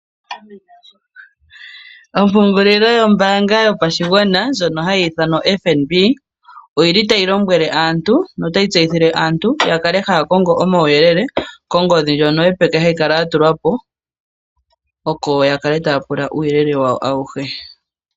Ompungulilo yombanga yopashigwana ndyono hayi ithanwa oFNB oyili tayi lombwele aantu notayi tseyithile aantu yakale haya kongo omawu yelele kongodhi ndjono yopeke hayi kala ya tulwapo oko ya kale taya pula uuyelela wawo awuhe.